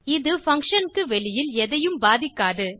இது பங்ஷன் க்கு வெளியில் எதையும் பாதிக்காது